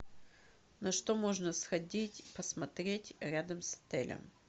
на что можно сходить посмотреть рядом с отелем